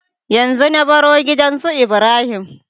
Yanzu na baro gidan su ibrahim